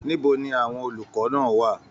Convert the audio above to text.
Níbo ní àwọn olùkọ náà wà?